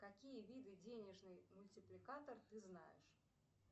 какие виды денежный мультипликатор ты знаешь